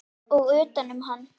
Og utanum hann.